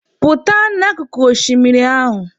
Pụta n'akụkụ oshimiri ahụ!